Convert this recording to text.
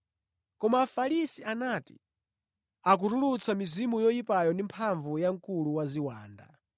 Koma Afarisi anati, “Akutulutsa mizimu yoyipa ndi mphamvu ya mkulu wa ziwanda.”